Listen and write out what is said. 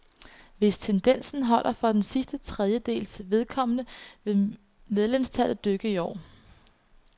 Hvis tendensen holder for den sidste trediedels vedkommende, vil medlemstallet dykke i år.